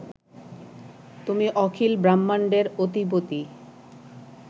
তুমি অখিল ব্রাহ্মাণ্ডের অধিপতি